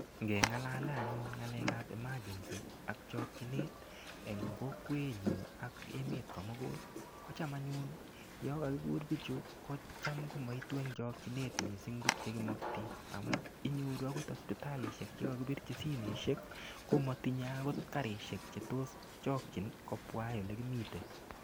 Ngeng'alale anyun ng'alekab emergency ak chokchinet eng' kokwenyu ak emet komugul kocham anyun yo kakikur bichu kocham anyun komaitu eng' chokchinet mising' tukche kimokti amun inyoru akot hospitalishek chekakipirchi simeshek komatinyei akot karishek chetos chokchin kobwa akoi ole imite